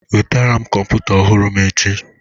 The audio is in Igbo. Weta kọmputa ọhụrụm echi!